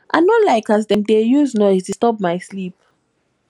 i no like as dem dey use noise disturb my sleep